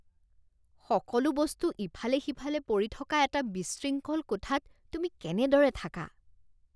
সকলো বস্তু ইফালে সিফালে পৰি থকা এটা বিশৃংখল কোঠাত তুমি কেনেদৰে থাকা?